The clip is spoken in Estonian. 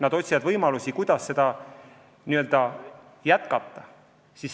Nad otsivad võimalusi, kuidas seda kõike jätkata.